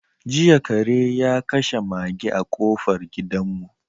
Jiya kare ya kashe maga a kofar gidanmu.